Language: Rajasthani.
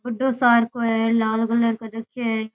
बड्डो सार को है लाल कलर कर रखयो है।